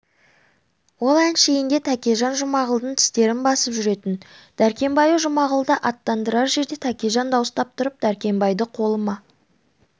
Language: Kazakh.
ол әншейінде тәкежан жұмағұлдың тістерін басып жүретін дәркембайы жұмағұлды аттандырар жерде тәкежан дауыстап тұрып дәркембайды қолыма